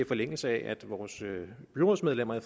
forlængelse af at vores byrådsmedlemmer i